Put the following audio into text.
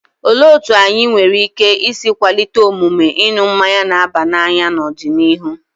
Olee otú anyị nwere ike isi kwalite omume ịṅụ mmanya na-aba n'anya n'ọdịnihu?